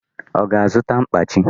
Ọ ga-azụta mkpachi